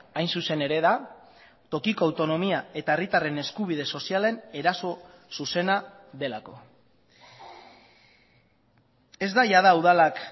hain zuzen ere da tokiko autonomia eta herritarren eskubide sozialen eraso zuzena delako ez da jada udalak